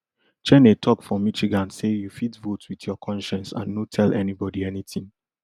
cheney tok for michigan say you fit vote wit your conscience and no tell anybodi anytin